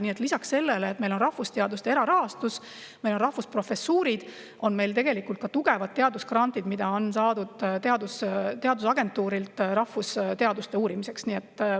Nii et lisaks sellele, et meil on rahvusteaduste erarahastus ja rahvusprofessuurid, on meil tegelikult ka tugevad teadusgrandid, mida on saadud teadusagentuurilt rahvusteaduste uurimusteks.